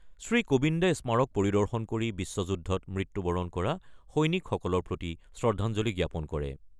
শ্ৰীকোবিন্দে স্মাৰক পৰিদৰ্শন কৰি বিশ্ব যুদ্ধত মৃত্যুবৰণ কৰা সৈনিকসকলৰ প্ৰতি শ্ৰদ্ধাঞ্জলি জ্ঞাপন কৰে।